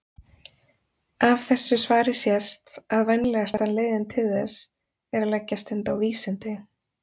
Af þessu svari sést að vænlegasta leiðin til þess er að leggja stund á vísindi.